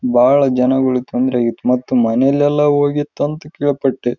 ನೀಲಿ ಬಣ್ಣದಾಗಿದೆ ಒಂದು ಕಾರು ಕೂಡ ನಿಂತಿದೆ ಇಲ್ಲಿ ಒಬ್ಬ ಪುರುಷನ ನೀರಿನಲ್ಲಿ ನಡೆದುಕೊಂಡು ಹೋಗುತ್ತಿದ್ದಾನೆ ಇಲ್ಲಿ ಒಂದು ಕಂಬ ಕೂಡ ಇದೆ.